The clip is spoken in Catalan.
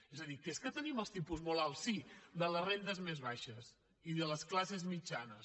és a dir que és que tenim els tipus molt alts sí de les rendes més baixes i de les classes mitjanes